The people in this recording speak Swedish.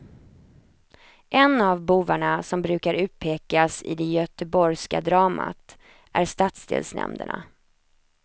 En av bovarna som brukar utpekas i det göteborgska dramat är stadsdelsnämnderna.